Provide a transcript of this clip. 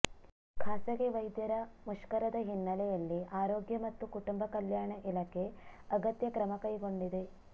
ಖಾಸಗಿ ವೈದ್ಯರ ಮುಷ್ಕರದ ಹಿನ್ನಲೆಯಲ್ಲಿ ಆರೋಗ್ಯ ಮತ್ತು ಕುಟುಂಬ ಕಲ್ಯಾಣ ಇಲಾಖೆ ಅಗತ್ಯ ಕ್ರಮ ಕೈಗೊಂಡಿದೆ